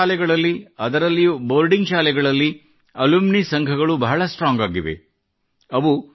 ಹಲವಾರು ಸ್ಕೂಲುಗಳಲ್ಲಿ ಅದರಲ್ಲಿಯೂ ಬೋರ್ಡಿಂಗ್ ಸ್ಕೂಲುಗಳಲ್ಲಿ ಅಲುಮಿನಿ ಸಂಘಗಳು ಬಹಳ ಸ್ಟ್ರಾಂಗ್ ಆಗಿವೆ